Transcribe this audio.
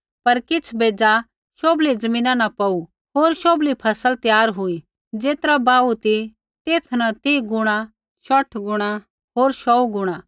पर किछ़ बेज़ा शोभली ज़मीना न पौड़ू होर शोभली फ़सल त्यार हुई ज़ेतरा बाहू ती तेथा न तीह गुणा शौठ गुणा होर शौऊ गुणा